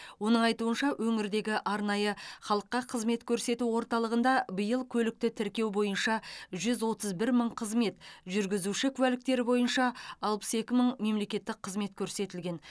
оның айтуынша өңірдегі арнайы халыққа қызмет көрсету орталығында биыл көлікті тіркеу бойынша жүз отыз бір мың қызмет жүргізуші куәліктері бойынша алпыс екі мың мемлекеттік қызмет көрсетілген